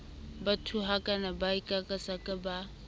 ba thuhakang ba kakasakang ba